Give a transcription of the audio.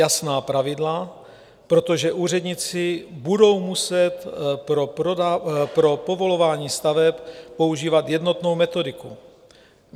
Jasná pravidla, protože úředníci budou muset pro povolování staveb používat jednotnou metodiku.